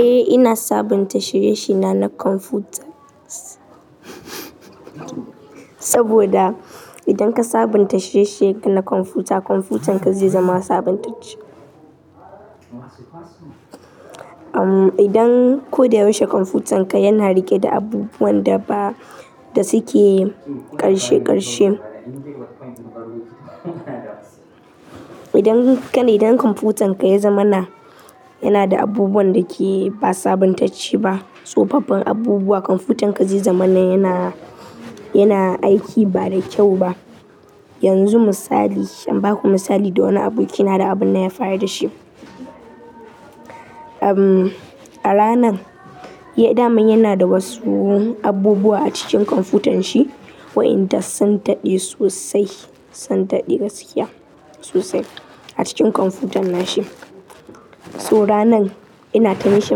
Eh ina sabunta shirye-shirye na na kwamfuta, saboda idan ka sabunta shirye-shiryen ka na kwamfuta, kwamfutanka zai zama sabuntacce. Idan ko da yaushe kwamfutanka yana riƙe da abubuwan da ba da suke ƙarshe ƙarshe. Idan kai idan kwamfutanka ya zamana, yana da abubuwan da ke ba sabuntacce ba, tsofaffin abubuwa, kwamfutanka zai zamana yana, yana aiki ba da kyau ba. Yanzu misali, in baku misali da wani abokina da abin da ya faru da shi. A ranan, ya daman yana da wasu abubuwa a cikin kwamfutanshi waɗanda sun daɗe sosai, sun daɗe gaskiya sosai a cikin kwamfutan nashi. To ranan ina ta mishi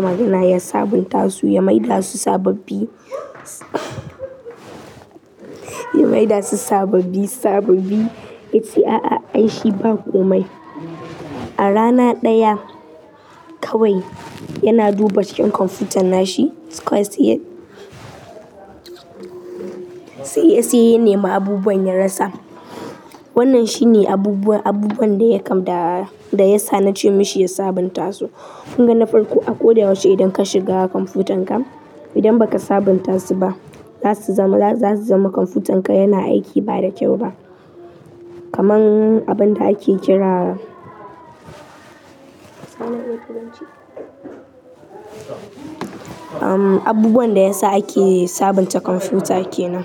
magana ya sabunta su ya maida su sababbi ya maida su sababbi sababbi, yace a'a, ai shi ba komai. A rana ɗaya kawai yana duba cikin kwamfutan nashi, kawai se-- sai ya, sai ya nema abubuwan ya rasa. Wannan shine abubuwan, abubuwan da ya kam, da ya sa na ce mashi ya sabunta su. Kun ga na farko a ko da ya wuce idan ka shiga kwamfutanka, idan ba ka sabunta su ba, za su zama, za su zama kwamfutanka yana aiki ba da kyau ba. Kaman abunda ake kira-- um abubuwan da ya sa ake sabunta kwamfuta kenan.